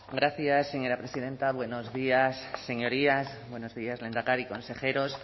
gracias señora presidenta buenos días señorías buenos días lehendakari consejeros